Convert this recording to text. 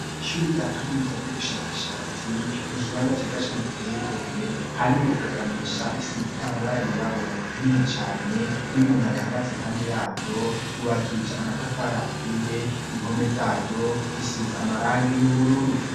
Ishure rya kaminuza ry'ubushakashatsi, n'ikibanza ciza cane giteye igomwe, harimwo rugagamisha isize amabara yirabura nini cane n'umuntu ayihagaze impande yaryo ryubakishije amatafari aturiye, impome zaryo zisize amarangi y'ubururu.